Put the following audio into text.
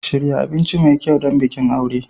Shirya abinci mai kyau don bikin aure.